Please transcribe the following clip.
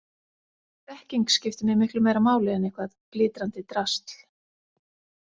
Þekking skiptir mig miklu meira máli en eitthvað glitrandi drasl